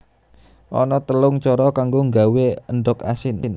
Ana telung cara kanggo nggawé endhog asin